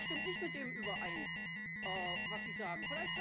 Das stimmt nicht mit dem überein, was Sie sagen.